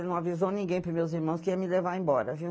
Ele não avisou ninguém para os meus irmãos que ia me levar embora, viu?